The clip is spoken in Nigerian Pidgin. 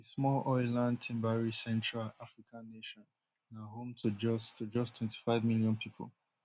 di small oiland timberrich central african nation na home to just to just twenty-five million pipo